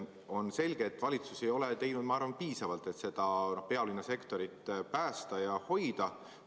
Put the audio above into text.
On selge, et valitsus ei ole teinud piisavalt, et seda pealinna sektorit päästa ja hoida.